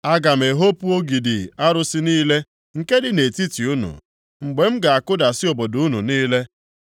Aga m ehopu ogidi arụsị niile + 5:14 Ogidi ndị a bụ nke arụsị Ashera nke dị nʼetiti unu, mgbe m ga-akụdasị obodo unu niile